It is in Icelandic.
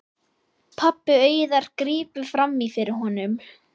Pabbi Auðar grípur fram í fyrir honum.